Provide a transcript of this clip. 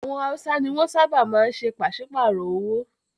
Àwọn Hausa ni wọ́n ṣábà máa ń ṣe pàsípàrọ̀ owó.